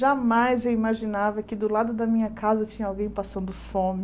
Jamais eu imaginava que do lado da minha casa tinha alguém passando fome.